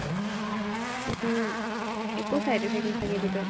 উম একো side effect নাথাকে বিটৰ